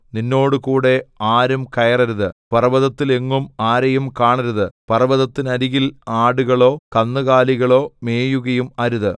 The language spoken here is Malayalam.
നിന്നോടുകൂടെ ആരും കയറരുത് പർവ്വതത്തിലെങ്ങും ആരെയും കാണരുത് പർവ്വതത്തിനരികിൽ ആടുകളോ കന്നുകാലികളോ മേയുകയും അരുത്